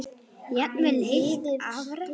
Jafnvel heilt afrek?